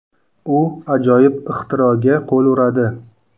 U ajoyib ixtiroga qo‘l uradi.